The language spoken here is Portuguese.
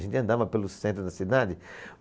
A gente andava pelo centro da cidade.